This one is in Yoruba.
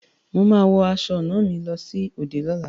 Mo máa wọ aṣọ ọnà mi lọ sí òde lola